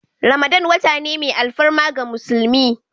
Ramadan wata ne mai alfarma ga musulmi.